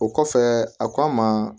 O kɔfɛ a k'a ma